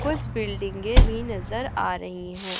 कुछ बिल्डिंगें भी नजर आ रही हैं।